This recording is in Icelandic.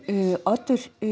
Oddur